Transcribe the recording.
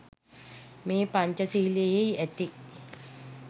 මේ පංචසීලයෙහි ඇති